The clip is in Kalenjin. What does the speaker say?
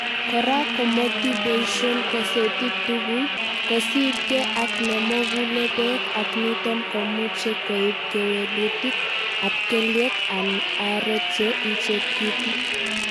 kora, komotiboishen kosetit tugul, kosiibge ak nemokule beek ak niton komuche koib kewelutik ab kelyek en areek che ichekitu.